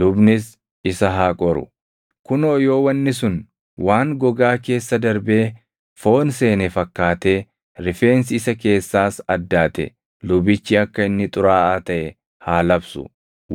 Lubnis isa haa qoru; kunoo yoo wanni sun waan gogaa keessa darbee foon seene fakkaatee rifeensi isa keessaas addaate lubichi akka inni xuraaʼaa taʼe haa labsu.